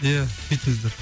ия сөйтіңіздер